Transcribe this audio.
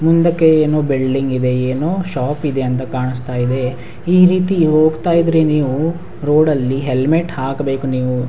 ಮುಂದಕ್ಕೆ ಏನೋ ಬೆಳ್ಳಕ್ಕಿದೆ ಏನೊ ಶಾಪಿದೆ ಅಂತ ಕಾಣ್ಸ್ತಾ ಇದೆ ಈ ರೀತಿ ಹೋಗ್ತಾ ಇದ್ರೆ ನೀವು ರೋಡಲ್ಲಿ ಹೆಲ್ಮೆಟ್ ಹಾಕ್ಬೇಕು ನೀವು.